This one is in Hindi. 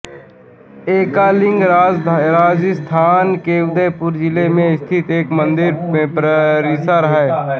एकलिंग राजस्थान के उदयपुर जिले में स्थित एक मंदिर परिसर है